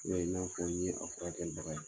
I y'a ye n'a fɔr'i ye a furakɛli daga